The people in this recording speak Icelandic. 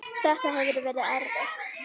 Þetta hefur verið erfitt.